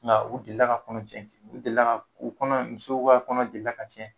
Nka u delila ka u delila ka u kɔnɔ muso kɔnɔ delila ka tiɲɛ